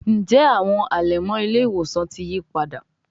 Njé Àwọn alẹmọ ile-iwosan tí yípadà?